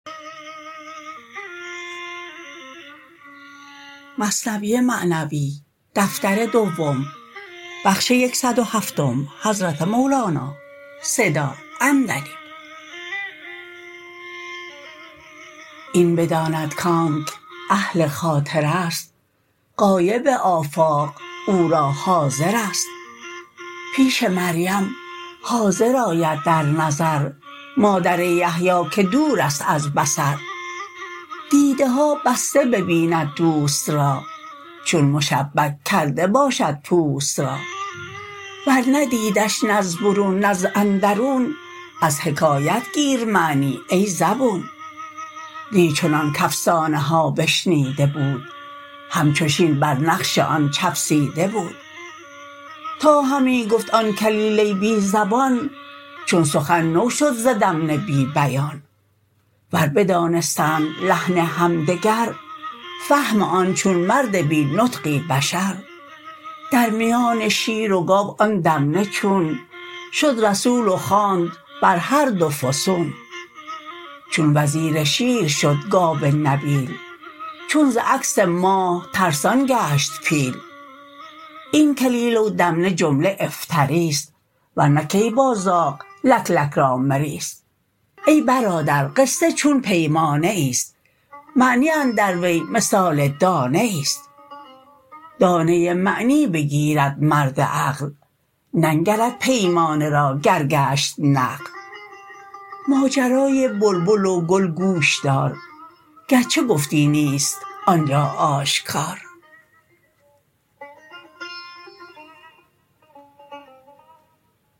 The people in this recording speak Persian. این بداند کانک اهل خاطرست غایب آفاق او را حاضرست پیش مریم حاضر آید در نظر مادر یحیی که دورست از بصر دیده ها بسته ببیند دوست را چون مشبک کرده باشد پوست را ور ندیدش نه از برون نه از اندرون از حکایت گیر معنی ای زبون نی چنان کافسانه ها بشنیده بود همچو شین بر نقش آن چفسیده بود تا همی گفت آن کلیله بی زبان چون سخن نوشد ز دمنه بی بیان ور بدانستند لحن همدگر فهم آن چون مرد بی نطقی بشر در میان شیر و گاو آن دمنه چون شد رسول و خواند بر هر دو فسون چون وزیر شیر شد گاو نبیل چون ز عکس ماه ترسان گشت پیل این کلیله و دمنه جمله افتراست ورنه کی با زاغ لک لک را مریست ای برادر قصه چون پیمانه ایست معنی اندر وی مثال دانه ایست دانه معنی بگیرد مرد عقل ننگرد پیمانه را گر گشت نقل ماجرای بلبل و گل گوش دار گرچه گفتی نیست آنجا آشکار